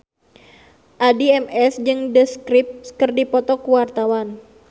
Addie MS jeung The Script keur dipoto ku wartawan